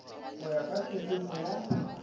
go ya ka tshepetšo ya